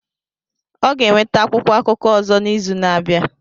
Ọ ga-enweta akwụkwọ akụkọ ọzọ n'izu na-abịa